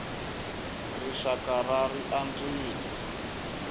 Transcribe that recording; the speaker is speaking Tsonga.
rixakara ri andzile